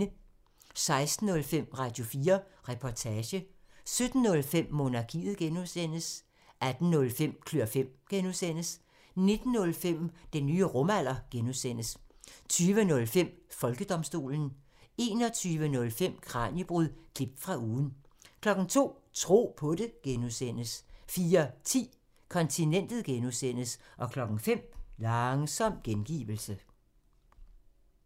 16:05: Radio4 Reportage 17:05: Monarkiet (G) 18:05: Klør fem (G) 19:05: Den nye rumalder (G) 20:05: Folkedomstolen 21:05: Kraniebrud – klip fra ugen 02:00: Tro på det (G) 04:10: Kontinentet (G) 05:00: Langsom gengivelse